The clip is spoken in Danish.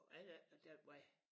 Og er der ikke noget den vej?